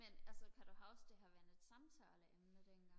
men altså kan du huske det har været et samtaleemne dengang